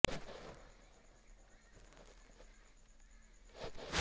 त्यांच्या येण्याची वार्ता कळताच जंगलातील स्रियांनी त्यांच्यासाठी नैवेद्य तयार करायला सुरुवात केली